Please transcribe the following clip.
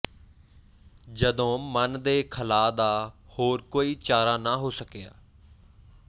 ਜਦੋਂ ਮਨ ਦੇ ਖਲਾਅ ਦਾ ਹੋਰ ਕੋਈ ਚਾਰਾ ਨ ਹੋ ਸਕਿਆ